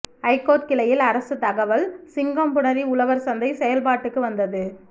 high court கிளையில் அரசு தகவல் சிங்கம்புணரி உழவர்சந்தை செயல்பாட்டுக்கு வந்தது